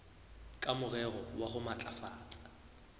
ka morero wa ho matlafatsa